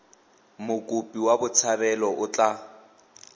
mokopi wa botshabelo o tla